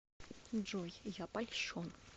джой я польщен